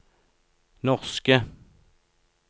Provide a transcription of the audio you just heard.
norske